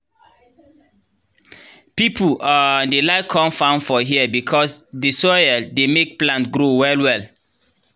pipu um dey like com farm here because dey soil dey make plant grow well well